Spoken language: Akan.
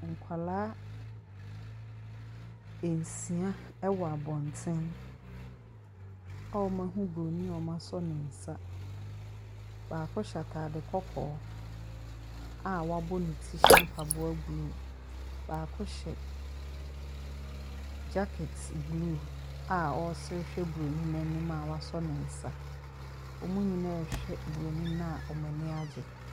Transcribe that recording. Nkwaraa nsia ɛwɔ abɔnten a wɔn ahu buroni a wɔasɔ ne nsa. Baako hyɛ ataade kɔkɔɔ a wabɔ ne ti hyɛ mpaboa blue. Baako hyɛ Gyakɛt blue a ɔresere hwɛ buroni no anim a wɔsɔ ne nsa. Wɔn nyinaa rehwɛ buroni no wɔn ani agye.